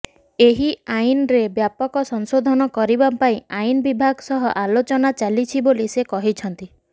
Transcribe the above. ଏହି ଆଇନରେ ବ୍ୟାପକ ସଂଶୋଧନ କରିବା ପାଇଁ ଆଇନ ବିଭାଗ ସହ ଆଲୋଚନା ଚାଲିଛି ବୋଲି ସେ କହିଛନ୍ତି